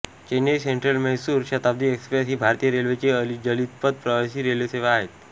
चेन्नई सेंट्रलम्हैसूर शताब्दी express ही भारतीय रेल्वेची अतिजलद प्रवासी रेल्वेसेवा आहे